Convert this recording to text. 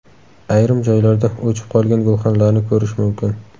Ayrim joylarda o‘chib qolgan gulxanlarni ko‘rish mumkin.